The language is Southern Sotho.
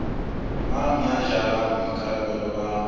mang ya jarang boikarabelo ba